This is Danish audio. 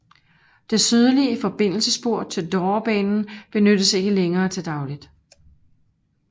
Det sydlige forbindelsesspor til Dovrebanen benyttes ikke længere til dagligt